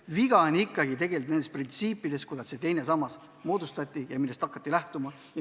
Viga on ikkagi nendes printsiipides, mille alusel see teine sammas moodustati ja millest hakati lähtuma.